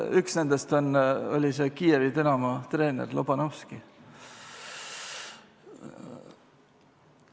Üks nendest oli see Kiievi Dinamo treener Lobanovskõi.